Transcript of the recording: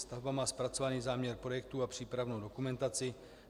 Stavba má zpracovaný záměr projektu a přípravnou dokumentaci.